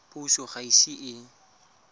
puso ga e ise e